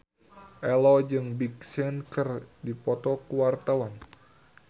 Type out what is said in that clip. Ello jeung Big Sean keur dipoto ku wartawan